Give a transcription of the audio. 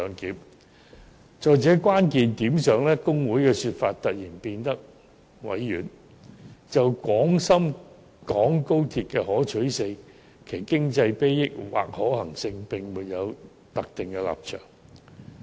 在成效這個關鍵問題上，大律師公會的說法突然變得委婉，指出："就廣深港高鐵的可取性，其經濟裨益或可行性，並沒有特定立場"。